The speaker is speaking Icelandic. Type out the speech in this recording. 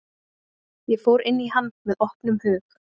Ég fór inn í hann með opnum hug.